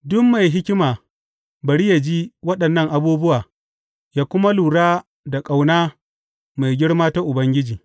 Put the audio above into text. Duk mai hikima, bari yă ji waɗannan abubuwa yă kuma lura da ƙauna mai girma ta Ubangiji.